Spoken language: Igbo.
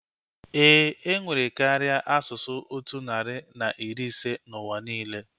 Éè, enwere karịa asụsụ otu narị na iri ise n'ụwa niile